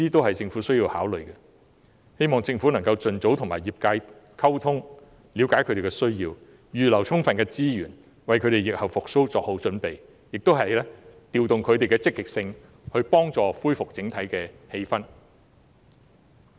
我希望政府能夠盡早與業界溝通，了解他們的需要，預留充分資源，為他們在疫後的復蘇作好準備，也要推動他們積極行事，幫助恢復整體氣氛。